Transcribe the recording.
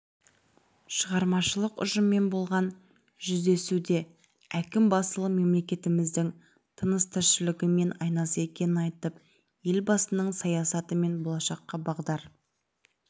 шығармашылық ұжыммен болған жүздесудеәкім басылым мемлекетіміздің тыныс-тіршілігі мен айнасы екенін айтып елбасының саясаты мен болашаққа бағдар